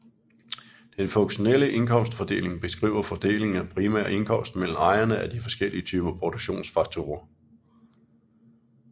Den funktionelle indkomstfordeling beskriver fordelingen af primær indkomst mellem ejerne af de forskellige typer produktionsfaktorer